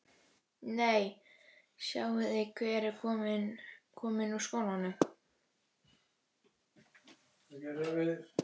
Nei, sjáiði hver er kominn úr skólanum